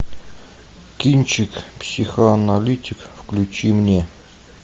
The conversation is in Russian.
кинчик психоаналитик включи мне